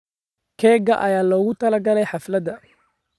Keega ayaa loogu talagalay xafladda.